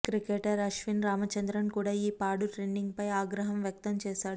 cricketer Ashwin Ramachandran కూడా ఈ పాడు ట్రెండింగ్ పై ఆగ్రహం వ్యక్తంచేశాడు